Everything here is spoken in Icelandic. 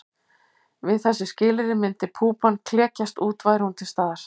Við þessi skilyrði myndi púpan klekjast út væri hún til staðar.